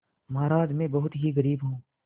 महाराज में बहुत ही गरीब हूँ